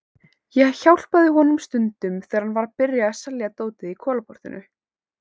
Ég hjálpaði honum stundum þegar hann var að byrja að selja dótið í Kolaportinu.